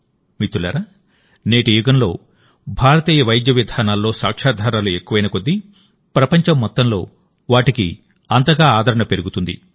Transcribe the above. మిత్రులారానేటి యుగంలోభారతీయ వైద్య విధానాల్లోసాక్ష్యాధారాలు ఎక్కువైనకొద్దీ ప్రపంచం మొత్తంలో వాటికి అంతగా ఆదరణ పెరుగుతుంది